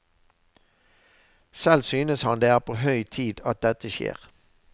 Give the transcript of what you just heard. Selv synes han det er på høy tid at dette skjer.